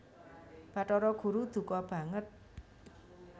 Bathara Guru duka banget